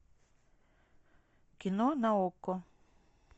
кино на окко